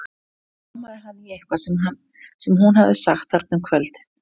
Og nú rámaði hann í eitthvað sem hún hafði sagt þarna um kvöldið.